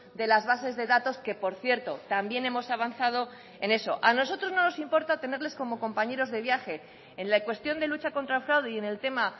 de las bases de datos que por cierto también hemos avanzado en eso a nosotros no nos importa tenerles como compañeros de viaje en la cuestión de lucha contra el fraude y en el tema